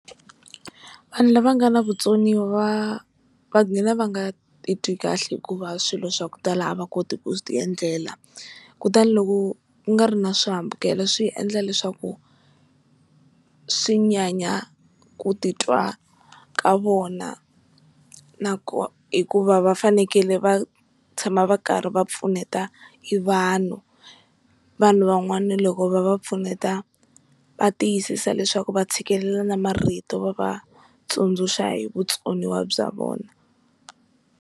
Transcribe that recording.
Vanhu lava nga na vutsoniwa va gina va nga titwi kahle hikuva swilo swa ku tala a va koti ku ti endlela, kutani loko ku nga ri na swihambukelo swi endla leswaku swi nyanya ku titwa ka vona na ku hikuva va fanekele va tshama va karhi va pfuneta hi vanhu, vanhu van'wana loko va va pfuneta va tiyisisa leswaku va tshikelela na marito va va tsundzuxa hi vutsoniwa bya vona.